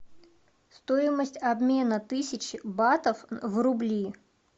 стоимость обмена тысячи батов в рубли